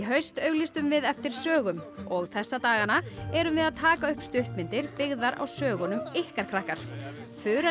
haust auglýstum við eftir sögum og þessa dagana erum við að taka upp stuttmyndir byggðar á sögunum ykkar krakkar Þura